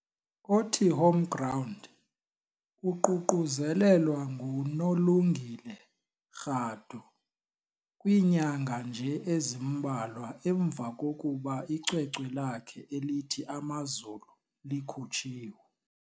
othi "Homeground" - uququzelelwa ngu noLungile Radu - kwiinyanga nje ezimbalwa emva kokuba icwecwe lakhe "elithi Amazulu" likhutshiwe.